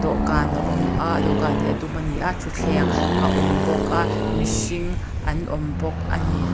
dawhkân a awm a dawhkân hi a dum a ni a ṭhuthleng a awm bawk a mihring an awm bawk a ni.